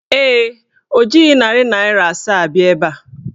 Ee, o jighị narị naịra asaa bịa ebe a.